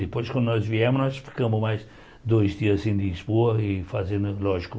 Depois, quando nós viemos, nós ficamos mais dois dias em Lisboa e fazendo, lógico,